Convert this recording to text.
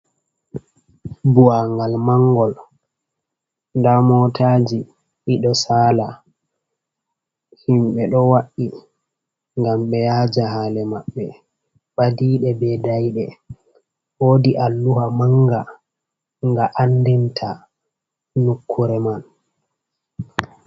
Buwangal mangol, nda motaji bido sala himbe do wa’i gam beya ja hale mabbe badide be daide, wodi alluha manga ga andinta nukkure man.